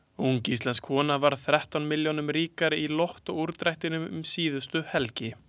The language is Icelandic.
Ung íslensk kona varð þrettán milljónum ríkari í Lottó úrdrættinum um síðustu helgi.